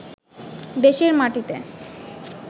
দেশের মাটিতে